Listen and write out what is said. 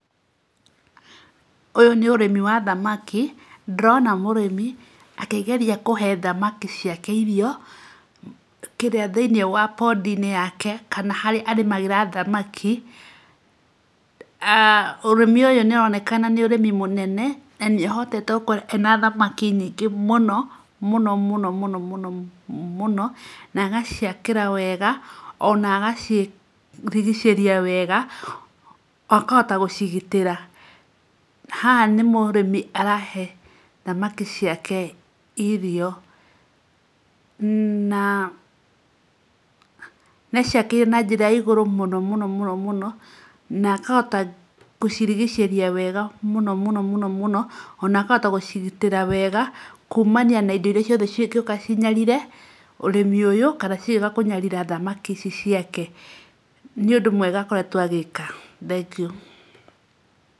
Ũyũ nĩ ũrĩmi wa thamaki. Ndĩrona mũrĩmi akĩgeria kũhe thamaki ciake irio kĩrĩa thĩ-inĩ wa podi-inĩ yake, kana harĩa arĩmagĩra thamaki. Ah Ũrĩmi ũyũ nĩũronekana nĩ ũrĩmi mũnene, na nĩahotete gũkorwo ena thamaki nyingĩ mũno mũno mũno mũno mũno mũno, na agaciakĩra wega, ona agacirigicĩria wega, akahota gũcigitĩra. Haha nĩ mũrĩmi arahe thamaki ciake irio. Na nĩacĩakĩire na njĩra ya igũrũ mũno mũno mũno mũno, na akahota gũcirigicĩria wega mũno mũno mũno mũno mũno, ona akahota gũcigitĩra wega kumania na indo iria ciothe cingĩũka cinyarire ũrĩmi ũyũ, kana cigĩũka kũnyarira thamaki ici ciake. Nĩ ũndũ mwega akoretwo agĩka. Thengiũ